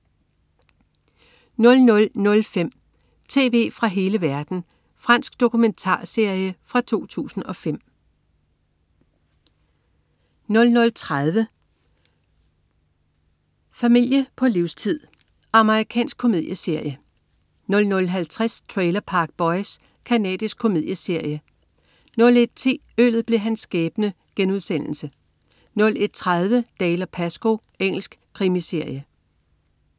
00.05 Tv fra hele verden. Fransk dokumentarserie fra 2005 00.30 Familie på livstid. Amerikansk komedieserie 00.50 Trailer Park Boys. Canadisk komedieserie 01.10 Øllet blev hans skæbne* 01.30 Dalziel & Pascoe. Engelsk krimiserie